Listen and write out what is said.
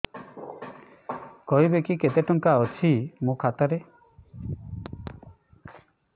କହିବେକି କେତେ ଟଙ୍କା ଅଛି ମୋ ଖାତା ରେ